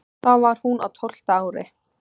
Þá var hún á tólfta ári.